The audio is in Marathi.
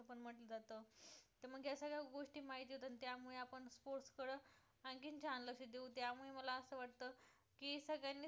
की सगळ्यांनी sports